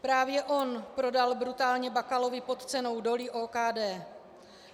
Právě on prodal brutálně Bakalovi pod cenou doly OKD.